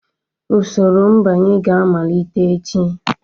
Usoro mbanye ga-amalite echi